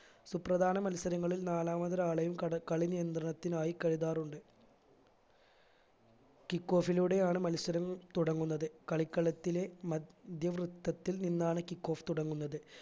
സുപ്രധാന മത്സരങ്ങളിൽ നാലാമതൊരാളെയും കട കളി നിയന്ത്രണത്തിനായി കരുതാറുണ്ട് kick off ലൂടെയാണ് മത്സരം തുടങ്ങുന്നത് കളിക്കളത്തിലെ മദ്ധ്യ വൃത്തത്തിൽ നിന്നാണ് kick off തുടങ്ങുന്നത്